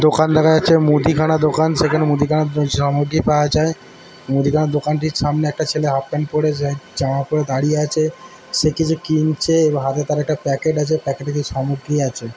দোকান দেখা যাচ্ছে। মুদিখানা দোকান। সেখানে মুদিখানার উম সামগ্রী পাওয়া যায়। মুদিখানার দোকান টির সামনে একটা ছেলে হাফ প্যান্ট পরে যায় জামা পরে দাঁড়িয়ে আছে। সে কিছু কিনছে এবং হাতে তার একটা প্যাকেট আছে। প্যাকেট এ কিছু সামগ্রী আছে।